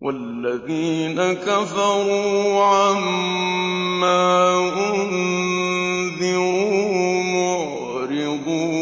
وَالَّذِينَ كَفَرُوا عَمَّا أُنذِرُوا مُعْرِضُونَ